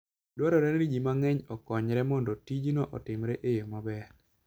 Dwarore ni ji mang'eny okonyre mondo tijno otimre e yo maber.